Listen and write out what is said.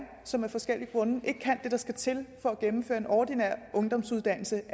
som af forskellige grunde ikke kan det der skal til for at gennemføre en ordinær ungdomsuddannelse